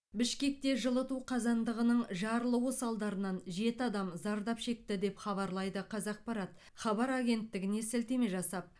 бішкекте жылыту қазандығының жарылуы салдарынан жеті адам зардап шекті деп хабарлайды қазақпарат хабар агенттігіне сілтеме жасап